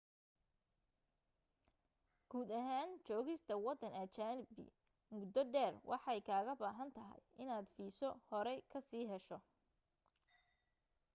guud ahaan joogista waddan ajanabi muddo dheer waxay kaaga baahan tahay inaad fiiso horey ka sii hesho